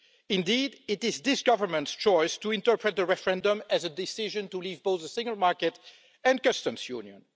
Indeed, it is this Government's choice to interpret the referendum as a decision to leave both the single market and the customs union.